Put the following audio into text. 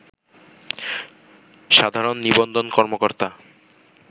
সাধারণ নিবন্ধন কর্মকর্তা